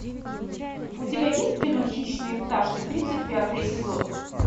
у тебя есть кино хищные пташки тридцать пятый эпизод